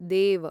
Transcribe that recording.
देव